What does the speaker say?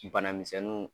Bana misɛnninw